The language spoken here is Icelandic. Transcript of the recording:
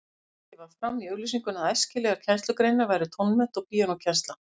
Tekið var fram í auglýsingunni að æskilegar kennslugreinar væru tónmennt og píanókennsla.